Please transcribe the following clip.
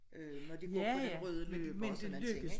Øh når de går på den røde løber og sådan nogen ting ikke?